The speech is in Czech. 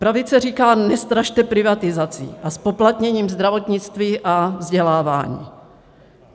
Pravice říká, nestrašte privatizací a zpoplatněním zdravotnictví a vzdělávání.